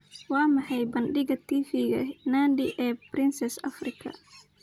Waa maxay bandhiga TV-ga Nandi ee Princess Afrika?